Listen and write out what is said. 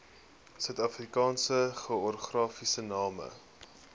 suidafrikaanse geografiese name